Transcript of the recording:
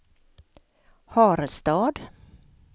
Harestad